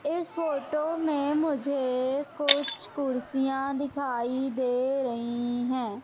इस फोटो में मुझे कुछ कुर्सियां दिखाई दे रही हैं।